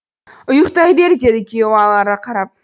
ұйықтай бер деді күйеуі алара қарап